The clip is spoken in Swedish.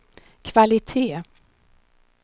kvalitet